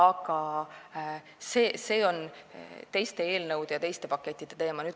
Kuid see on teiste eelnõude ja teiste pakettide teema.